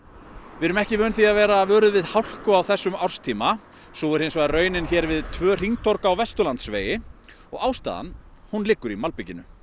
við erum ekki vön því að vera vöruð við hálku á þessum árstíma sú er hins vegar raunin hér við tvö hringtorg á Vesturlandsvegi og ástæðan hún liggur í malbikinu